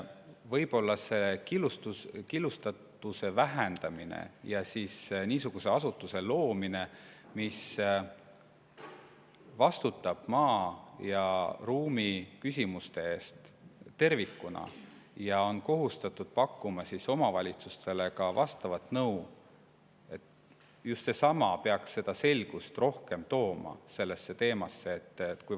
" Võib-olla killustatuse vähendamine ja niisuguse asutuse loomine, mis vastutab maa ja ruumi küsimuste eest tervikuna ja on kohustatud pakkuma omavalitsustele ka vastavat nõu – just see peaks sellesse teemasse selgust rohkem tooma.